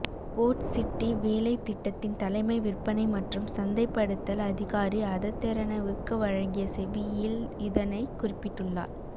boat city வேலைத் திட்டத்தின் தலைமை விற்பனை மற்றும் சந்தைப்படுத்தல் அதிகாரி அத தெரணவுக்கு வழங்கிய செவ்வியில் இதனைக் குறிப்பிட்டுள்ளார்